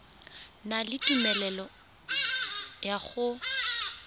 na le tumelelo ya go